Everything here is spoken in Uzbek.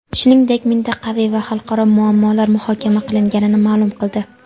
shuningdek mintaqaviy va xalqaro muammolar muhokama qilinganini ma’lum qildi.